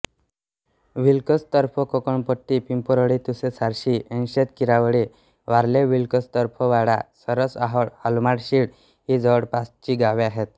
विल्कोसतर्फेकोणपट्टी पिंपरोळी तुसे सारशी ऐनशेत किरावळी वारळेविल्कोसतर्फेवाडा सरसओहोळ आलमाण शीळ ही जवळपासची गावे आहेत